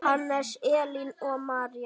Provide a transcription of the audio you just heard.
Hannes, Elín og María.